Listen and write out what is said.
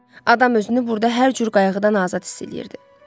Adam özünü burda hər cür qayğıdan azad hiss eləyirdi.